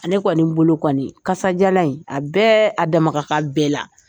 Ale kɔni bolo kɔni kajalan in a bɛɛ a dama ka kan bɛɛ la.